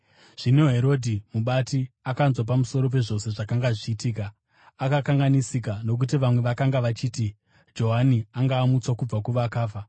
Zvino Herodhi mubati akanzwa pamusoro pezvose zvakanga zvichiitika. Akakanganisika, nokuti vamwe vakanga vachiti Johani akanga amutswa kubva kuvakafa,